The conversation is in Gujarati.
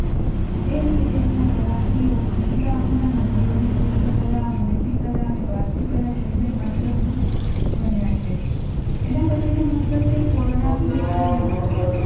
દેશ વિદેશનાં પ્રવાસીઓ ખજૂરાહોનાં મંદિરોની શિલ્પકલા, મૂર્તિકલા અને વાસ્તુક્લા જોઈ મંત્ર મુગ્ધ બને છે. એના પછી નો મુદ્દો છે કોણાર્કનું સૂર્ય મંદિર